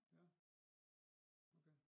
Ja okay